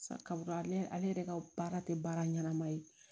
Sakabo ale yɛrɛ ka baara tɛ baara ɲɛnama ye